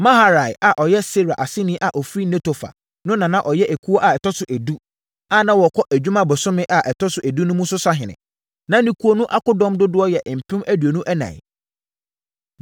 Maharai a ɔyɛ Serah aseni a ɔfiri Netofa no na na ɔyɛ ekuo a ɛtɔ so edu, a na wɔkɔ adwuma bosome a ɛtɔ so edu mu no so sahene. Na ne ekuo no akodɔm dodoɔ yɛ mpem aduonu ɛnan (24,000).